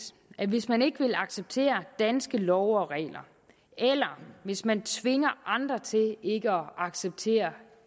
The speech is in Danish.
at hvis man ikke vil acceptere danske love og regler eller hvis man tvinger andre til ikke at acceptere